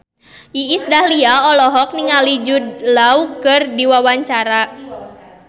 Iis Dahlia olohok ningali Jude Law keur diwawancara